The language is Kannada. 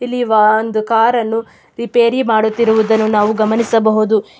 ಇಲ್ಲಿ ಒಂದು ಕಾರ್ ಅನ್ನು ರಿಪೇರಿ ಮಾಡುತ್ತಿರುವುದನ್ನು ನಾವು ಗಮನಿಸಬಹುದು.